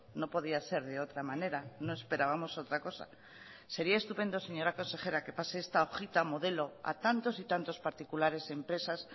no podía ser de otra manera no esperábamos otra cosa sería estupendo señora consejera que pase esta hojita modelo a tantos y tantos particulares empresas